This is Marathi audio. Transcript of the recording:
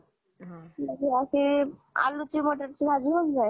अशी आलू मटर ची भाजी होउन जाईल.